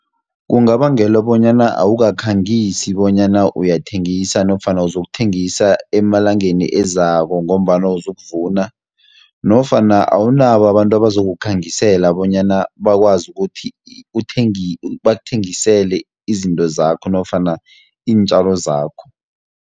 Kungabangelwa bonyana awukakhangisi bonyana uyathengisa nofana uzokuthengisa emalangeni ezako, ngombana uzokuvuna, nofana awunabo abantu abazokukhangisela bonyana bakwazi ukuthi bakuthengisele izinto zakho, nofana iintjalo zakho.